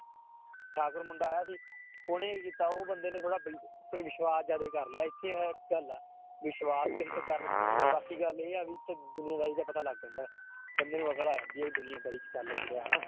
ਠਾਕੁਰ ਮੁੰਡਾ ਆਇਆ ਸੀ ਉਹਨੇ ਕੀ ਕੀਤਾ ਉਹ ਬੰਦੇ ਨੇ ਥੋੜ੍ਹਾ ਵਿਸ਼ਵਾਸ ਜ਼ਿਆਦੇ ਕਰ ਲਿਆ ਇੱਥੇ ਗੱਲ ਆ, ਵਿਸ਼ਵਾਸ ਕਿਸੇ ਤੇ ਕਰਨਾ ਨੀ ਚਾਹੀਦਾ ਬਾਕੀ ਗੱਲ ਇਹ ਆ ਵੀ ਇੱਥੇ ਦੁਨੀਆਂਦਾਰੀ ਦਾ ਪਤਾ ਲੱਗ ਜਾਂਦਾ ਹੈ ਬੰਦੇ ਨੂੰ ਅਕਲ ਆ ਜਾਂਦੀ ਹੈ ਵੀ ਦੁਨੀਆਂਦਾਰੀ 'ਚ ਚੱਲ ਕੀ ਰਿਹਾ ਹਨਾ।